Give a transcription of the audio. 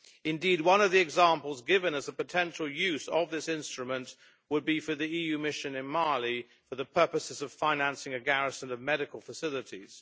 Indeed, one of the examples given as a potential use of this instrument would be for the EU mission in Mali for the purposes of financing a garrison of medical facilities.